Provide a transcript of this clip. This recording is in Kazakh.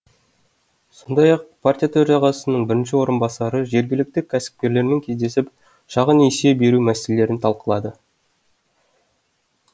сондай ақ партия төрағасының бірінші орынбасары жергілікті кәсіпкерлермен кездесіп шағын несие беру мәселелерін талқылады